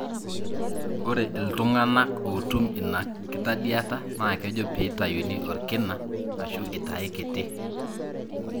ore iltungana otum ina kitadiata na kejo pitayuni olkina ashu itae kiti.